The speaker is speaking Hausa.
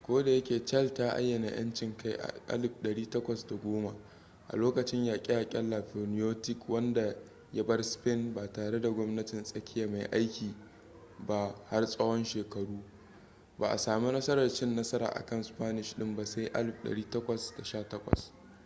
kodayake chile ta ayyana yanci kai a 1810 a lokacin yaƙe-yaƙen napoleonic wanda ya bar spain ba tare da gwamnatin tsakiya mai aiki ba har tsawon shekaru ba a sami nasarar cin nasara akan spanish ɗin ba sai 1818